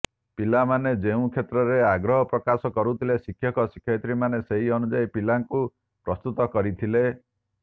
ପିଲାମାନେ ଯେଉଁ କ୍ଷେତ୍ରରେ ଆଗ୍ରହ ପ୍ରକାଶ କରିଥିଲେ ଶିକ୍ଷକ ଶିକ୍ଷୟିତ୍ରୀମାନେ ସେହି ଅନୁଯାୟୀ ପିଲାଙ୍କୁ ପ୍ରସ୍ତୁତ କରିଥିଲେ